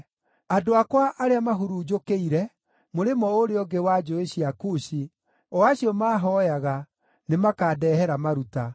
Andũ akwa arĩa mahurunjũkĩire mũrĩmo ũrĩa ũngĩ wa njũũĩ cia Kushi, o acio maahooyaga, nĩmakandehera maruta.